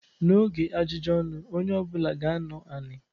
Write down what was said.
N'oge ajụjụ ọnụ onye ọbụla ga-anọ anị.